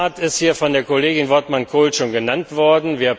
Der Kickstart ist hier von der Kollegin Wortmann Kool schon genannt worden.